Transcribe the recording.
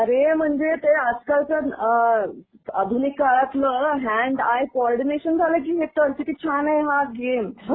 अरे म्हणजे ते आज कालचं अ आधुनिक काळातलं हँड आय कोऑर्डिनेशन झालं की हे. तर किती छान आहे हा गेम.